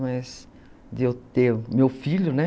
Mas de eu ter meu filho, né?